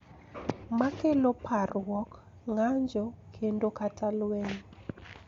Makelo parruok, ng�anjo, kendo kata lweny.